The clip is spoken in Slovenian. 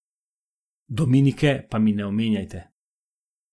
Dominike pa mi ne omenjajte ...